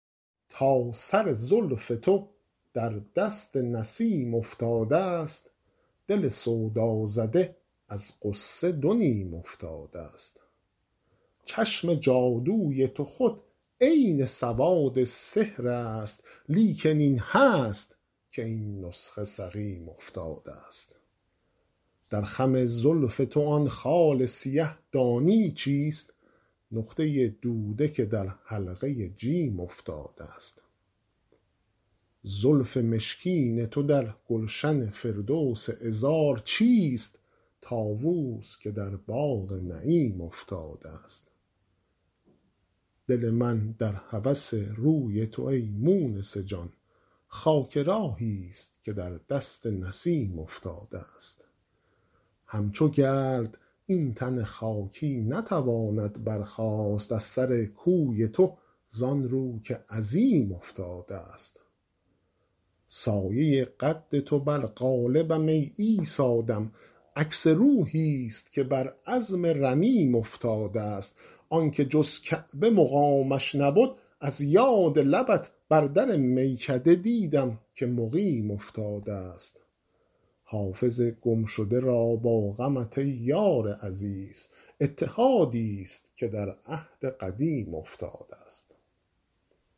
تا سر زلف تو در دست نسیم افتادست دل سودازده از غصه دو نیم افتادست چشم جادوی تو خود عین سواد سحر است لیکن این هست که این نسخه سقیم افتادست در خم زلف تو آن خال سیه دانی چیست نقطه دوده که در حلقه جیم افتادست زلف مشکین تو در گلشن فردوس عذار چیست طاووس که در باغ نعیم افتادست دل من در هوس روی تو ای مونس جان خاک راهیست که در دست نسیم افتادست همچو گرد این تن خاکی نتواند برخاست از سر کوی تو زان رو که عظیم افتادست سایه قد تو بر قالبم ای عیسی دم عکس روحیست که بر عظم رمیم افتادست آن که جز کعبه مقامش نبد از یاد لبت بر در میکده دیدم که مقیم افتادست حافظ گمشده را با غمت ای یار عزیز اتحادیست که در عهد قدیم افتادست